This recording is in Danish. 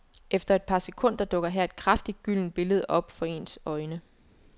Efter et par sekunder dukker her et kraftigt gyldent billede op for ens øjne.